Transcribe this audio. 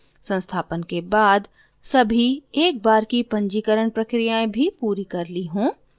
संस्थापन के बाद सभी एक बार की पंजीकरण प्रक्रियाएँ भी पूरी कर ली हों